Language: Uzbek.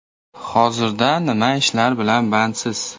Hozirda nima ishlar bilan bandsiz?